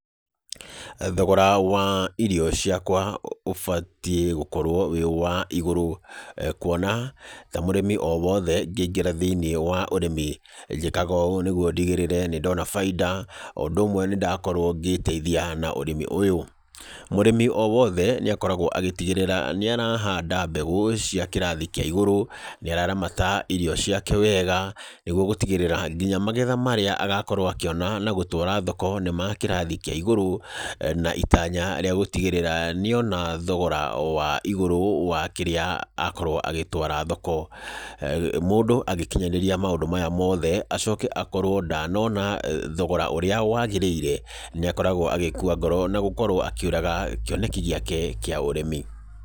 Thogora wa irio ciakwa ũbatiĩ gũkorwo wĩ wa igũrũ. Kuona ta mũrĩmi o wothe ngĩingĩra thĩiniĩ wa ũrĩmi, njĩkaga ũũ nĩguo ndigĩrĩre nĩ ndona bainda, o ũndũ ũmwe nĩ ndakorwo ngĩĩteithia na ũrĩmi ũyũ. Mũrĩmi o wothe nĩ akoragwo agĩtigĩrĩra nĩ arahanda mbegũ cia kĩrathia kĩa igũrũ, nĩ araramata irio ciake wega, nĩguo gũtigĩrĩra nginya magetha marĩa agakorwo akĩona na gũtwara thoko, nĩ ma kĩrathi kĩa igũrũ. Na itanya rĩa gũtigĩrĩra nĩ ona thogora wa igũrũ wa kĩrĩa akorwo agĩtwara thoko. Mũndũ agĩkinyanĩria maũndũ maya moothe, acoke akorwo ndanona thogora ũrĩa wagĩrĩire, nĩ akoragwo agĩkua ngoro, na gũkorwo akĩũraga kĩoneki gĩake kĩa ũrĩmi.